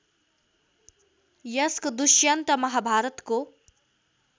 यसको दुष्यन्त महाभारतको